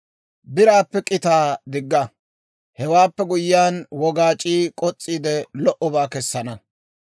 Biraappe k'itaa digga; hewaappe guyyiyaan, wogaac'ii k'os's'iide, lo"obaa kessana.